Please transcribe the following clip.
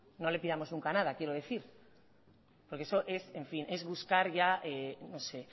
no le pidamos nunca nada quiero decir porque eso es en fin es buscar ya no sé